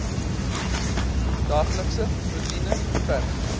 daaglikse roetine verg